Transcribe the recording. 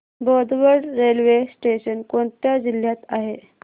Bodwad railway station कोणत्या जिल्ह्यात आहे